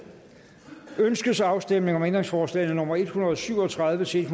ønskes afstemning om ændringsforslag nummer en hundrede og syv og tredive til